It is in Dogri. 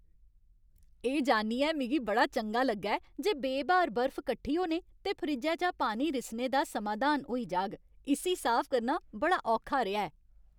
एह् जानियै मिगी बड़ा चंगा लग्गा ऐ जे बे ब्हार बर्फ कट्ठी होने ते फ्रिज्जै चा पानी रिसने दा समाधान होई जाग इस्सी साफ करना बड़ा औखा रेहा ऐ।